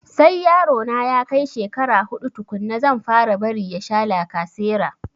Sai yaro na ya kai shekara huɗu tukunna zan fara bari ya sha lacasera